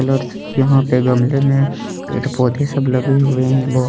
यहाँ पे गमले में पेड़ पौधे सब लगे हुए है बहत ।